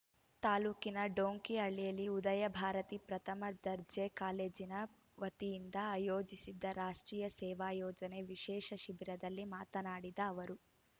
ತಾಲ್ಲೂಕಿನ ಡೊಂಕಿಹಳ್ಳಿಯಲ್ಲಿ ಉದಯಭಾರತಿ ಪ್ರಥಮ ದರ್ಜೆ ಕಾಲೇಜಿನ ವತಿಯಿಂದ ಆಯೋಜಿಸಿದ್ದ ರಾಷ್ಟ್ರೀಯ ಸೇವಾ ಯೋಜನೆ ವಿಶೇಷ ಶಿಬಿರದಲ್ಲಿ ಮಾತನಾಡಿದ ಅವರು